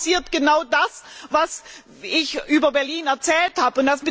Und dann passiert genau das, was ich über Berlin erzählt habe.